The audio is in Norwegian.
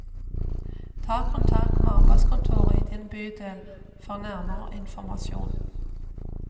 Ta kontakt med arbeidskontoret i din bydel for nærmere informasjon.